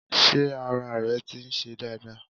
Sé ara rẹ ti ń se dáadáa